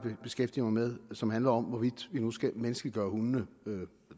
at beskæftige mig med og som handler om hvorvidt vi nu skal menneskeliggøre hundene